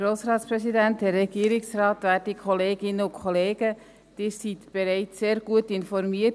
Sie wurden durch Grossrat Schlatter und meine Vorrednerinnen und Vorredner bereits sehr gut informiert.